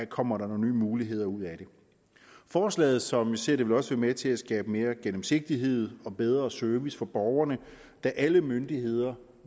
kommer der nogle nye muligheder ud af det forslaget som vi ser det vil også være med til at skabe mere gennemsigtighed og bedre service for borgerne da alle myndigheder